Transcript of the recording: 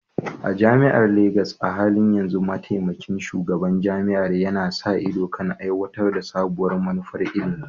A jami'ar Legas, a halin yanzu Mataimakin Shugaban Jami'ar yana sa ido kan aiwatar da sabuwar manufar ilimi.